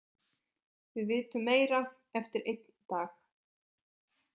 Við vitum meira eftir einn dag.